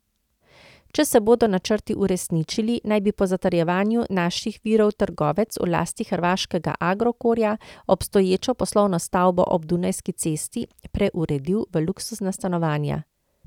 Če se bodo načrti uresničili, naj bi po zatrjevanju naših virov trgovec v lasti hrvaškega Agrokorja obstoječo poslovno stavbo ob Dunajski cesti preuredil v luksuzna stanovanja.